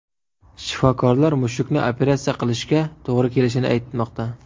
Shifokorlar mushukni operatsiya qilishga to‘g‘ri kelishini aytmoqda.